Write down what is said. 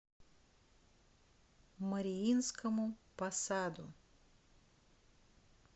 мариинскому посаду